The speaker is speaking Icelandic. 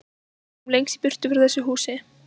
Sem lengst í burtu frá þessu húsi.